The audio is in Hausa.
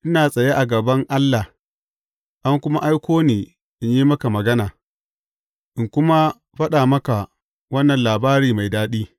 Ina tsaya a gaban Allah, an kuma aiko ni in yi maka magana, in kuma faɗa maka wannan labari mai daɗi.